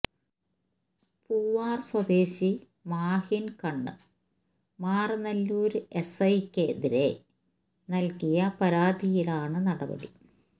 പൂവാര് സ്വദേശി മാഹിന് കണ്ണ് മാറനല്ലൂര് എസ്ഐയ്ക്കെതിരേ നല്കിയ പരാതിയിലാണ് നടപടി